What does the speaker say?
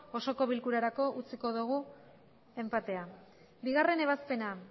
osoko bilkurarako utziko dugu enpatea bigarrena ebazpena